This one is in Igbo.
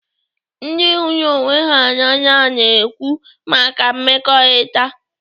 Ndị hụrụ ọnwe ha n'anya na-ekwu maka mmekọrịta.